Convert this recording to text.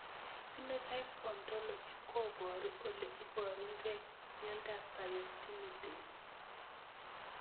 Phenotype ontology koparu ole iparukei miondop Biotinidase